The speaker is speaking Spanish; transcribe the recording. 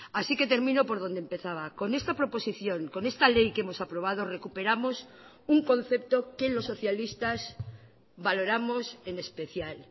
así que termino por donde empezaba con esta proposición con esta ley que hemos aprobado recuperamos un concepto que los socialistas valoramos en especial